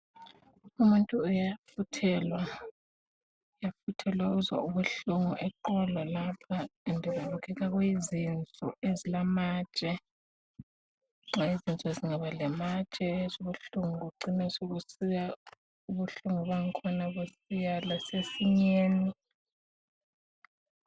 Umuntu uyafuthelwa, uzwa ubuhlungu eqolo lapha, kubukeka kuyizinso ezilamatshe. Nxa izinso zingabalamatshe uzubuhlungu bucina sebusiya ubuhlungu busiya lasesinyeni.